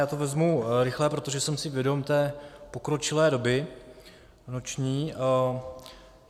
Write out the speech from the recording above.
Já to vezmu rychle, protože jsem si vědom té pokročilé doby noční.